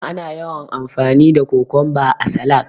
Ana yawan amfani da Kokonba a salak.